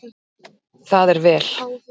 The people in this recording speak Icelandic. Það er vel